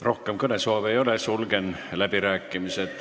Rohkem kõnesoove ei ole, sulgen läbirääkimised.